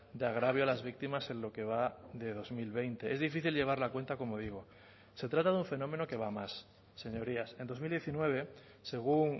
de agravio a las víctimas en lo que va de dos mil veinte es difícil llevar la cuenta como digo se trata de un fenómeno que va más señorías en dos mil diecinueve según